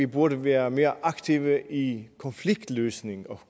burde være mere aktive i konfliktløsning